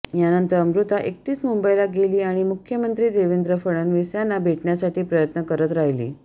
यानंतर अमृता एकटीच मुंबईला गेली आणि मुख्यमंत्री देवेंद्र फडणवीस यांना भेटण्यासाठी प्रयत्न करत राहिली